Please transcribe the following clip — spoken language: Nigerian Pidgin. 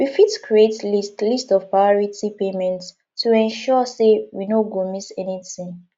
we fit create list list of priority payments to ensure sey we no go miss anything